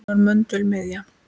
Hún var möndull og miðja.